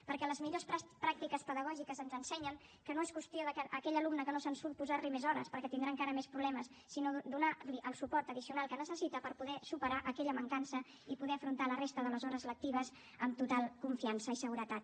perquè les millors pràctiques pedagògiques ens ensenyen que no és qüestió de a aquell alumne que no se’n surt posar li més hores perquè tindrà encara més problemes sinó donar li el suport addicional que necessita per poder superar aquella mancança i poder afrontar la resta de les hores lectives amb total confiança i seguretat